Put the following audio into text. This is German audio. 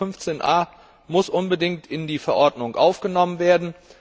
Der Artikel 15a muss unbedingt in die Verordnung aufgenommen werden.